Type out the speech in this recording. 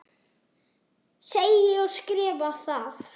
Segi og skrifa það.